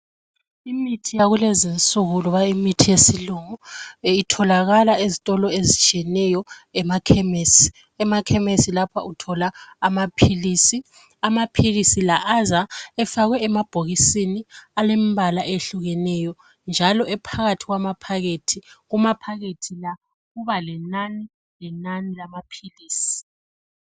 Imithi yakulezinsuku loba imithi yesilungu itholakala ezitolo ezitshiyeneyo emakhemesi. Emakhemesi lapha uthola amaphilisi. Amaphilisi la aza efakwe emabhokisini embala ehlukeneyo njalo phakathi kwamaphakethi. Kumaphakethi la kuba lenani lenani lamaphilisi.